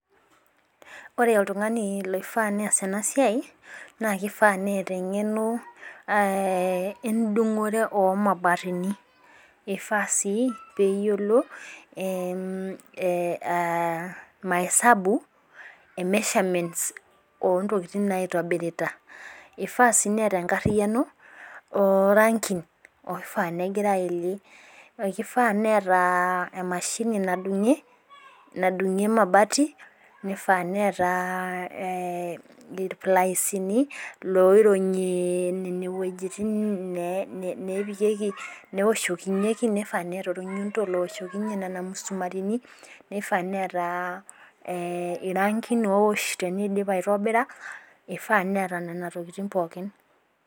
Ore oltungani oifaa nees ena siai. naa kifaa neeta eng'eno edungore oo mabatini. eifaa sii peeyiolo, maesabu e measurements oo ntokitin naotobirita, ifaa sii neeta enkariyiano oo rankin. oifaa negira ayelie. kigaa neeta, emashini nadungie emabati. nifaa neeta. ilplaisini loironyie. nene wuejitin neepikieki, neoshokinyeki. nifaa neeta olnyundo looshokinye Nena musumatini. nifaa neeta irankin oifaa nitobirie. ifaa neeta Nena tokitin pookin